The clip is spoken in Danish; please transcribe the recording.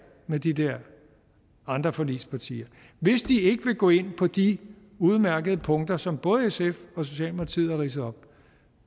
med de der andre forligspartier og hvis de ikke vil gå ind på de udmærkede punkter som både sf og socialdemokratiet har ridset op